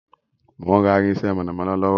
Mo ń rà irinsẹ́ mọ̀nàmọ́ná lọ́wọ́